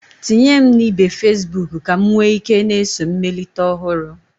Tinye m na ibe Fesbuk ka m nwee ike na-eso mmelite ọhụrụ.